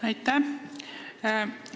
Aitäh!